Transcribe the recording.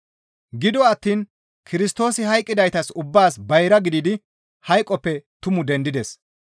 Gido attiin Kirstoosi hayqqidaytas ubbaas bayra gididi hayqoppe tumu dendides.